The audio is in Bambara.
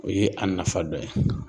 O ye a nafa dɔ ye.